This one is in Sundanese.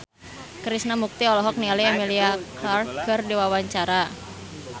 Krishna Mukti olohok ningali Emilia Clarke keur diwawancara